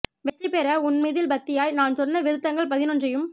வெற்றி பெற உன் மீதில் பக்தியாய் நான் சொன்ன விருத்தங்கள் பதினொன்றையும்